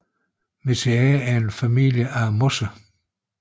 Mniaceae er en familie af mosser